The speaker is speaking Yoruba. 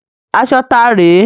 Aṣọ tá rè é?